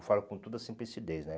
Eu falo com toda simplicidez, né?